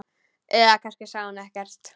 Eða kannski sagði hún ekkert.